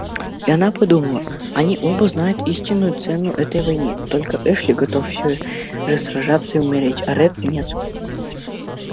и она подумала они оба знают истинную цену этой войне только эшли готов всё же сражаться и умереть а ретт нет